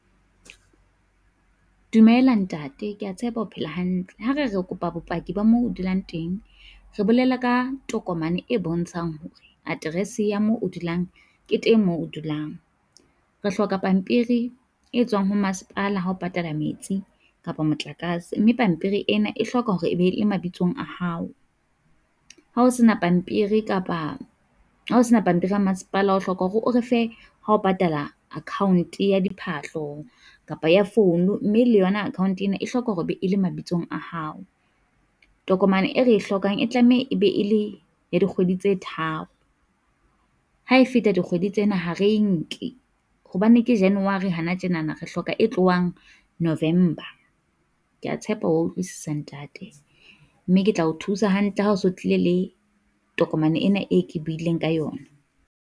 Dumela ntate kea tshepa o phela hantle. Ha re re kopa bopaki ba mo o dulang teng, re bolela ka tokomane e bontshang hore aterese ya moo o dulang ke teng moo o dulang. Re hloka pampiri e tswang ho masepala ha o patala metsi, kapa motlakase, mme pampiri ena e hloka hore e be e mabitsong a hao. Ha o sena pampiri kapa ha o sena pampiri ya masepala o hloka hore o refe ha o patala account ya diphahlo, kapa ya phone, mme le yona account ena e hloka hore be e le mabitsong a hao. Tokomane e re e hlokang e tlameha e be e le ya dikgwedi tse tharo, ha e feta dikgwedi tsena ha re nke, hobane ke January hana tjenana re hloka e tlohang November. Kea tshepa wa utlwisisa ntate, mme ke tla o thusa hantle ha se o tlile le tokomane ena e ke buileng ka yona.